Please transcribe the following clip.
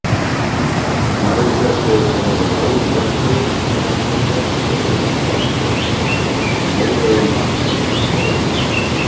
Maður þessi er fremur lágur vexti, grannholda með brúnt alskegg og mórauðan hattkúf á höfði.